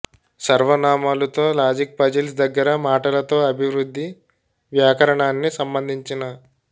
సర్వనామాలు తో logic puzzles దగ్గరగా మాటలతో అభివృద్ధి వ్యాకరణాన్ని సంబంధించిన